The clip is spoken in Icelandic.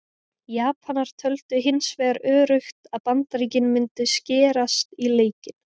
Japanar töldu hins vegar öruggt að Bandaríkin mundu skerast í leikinn.